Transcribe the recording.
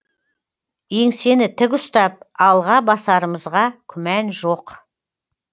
еңсені тік ұстап алға басарымызға күмән жоқ